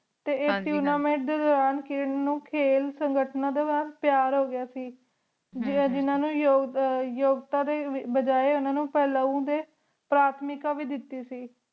T ਆਯ ਤੁਨਾਮਾਤੇ ਦੇ ਦੋਰਾਨ ਕਿਰਣ ਨੂ ਖੀਲ ਸੰਗਤਾ ਨਾਲ ਪਿਯਾਰ ਹੋ ਗਯਾ ਸੇ ਜਿਨਾ ਨੂ ਯੋਗਤਾ ਦੇ ਬਜਾਏ ਓਹਨਾ ਨੀ ਕਲੋ ਦੇ ਪਾਰਾਤ੍ਮਿਕਾ ਵੇ ਦਿਤੀ ਸੇ